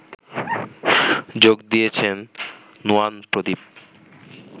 যোগ দিয়েছেন নুয়ান প্রদীপ